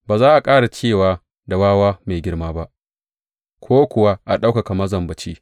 Ba za a ƙara ce da wawa mai girma ba ko kuwa a ɗaukaka mazambaci.